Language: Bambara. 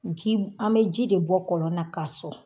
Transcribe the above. an bɛ ji de bɔ kɔlɔnna k'a sɔn.